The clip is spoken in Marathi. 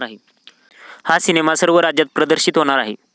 हा सिनेमा सर्व राज्यात प्रदर्शित होणार आहे.